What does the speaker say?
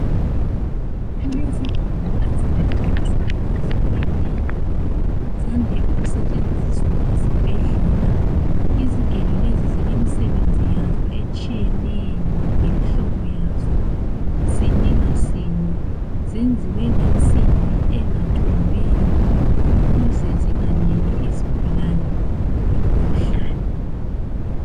Kulezigelo ezintathu ezehlukeneyo, zande ukusetshenziswa esibhedlela. Izigelo lezi zilemsebenzi yazo etshiyeneyo lemihlobo yazo sinye ngasinye. Zenziwe ngensimbi engathombiyo ukuze zinganiki isigulane imikhuhlane.